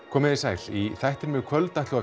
komið þið sæl í þættinum í kvöld ætlum